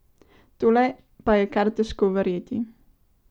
Tole pa je kar težko verjeti.